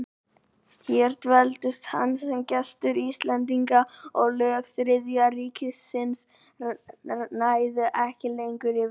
Hér dveldist hann sem gestur Íslendinga, og lög Þriðja ríkisins næðu ekki lengur yfir sig.